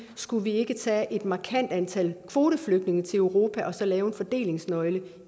skulle vi ikke tage et markant antal kvoteflygtninge til europa og så lave en fordelingsnøgle